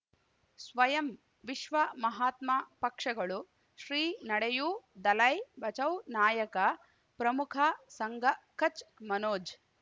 ಸ್ವಯಂ ವಿಶ್ವ ಮಹಾತ್ಮ ಪಕ್ಷಗಳು ಶ್ರೀ ನಡೆಯೂ ದಲೈ ಬಚೌ ನಾಯಕ ಪ್ರಮುಖ ಸಂಘ ಕಚ್ ಮನೋಜ್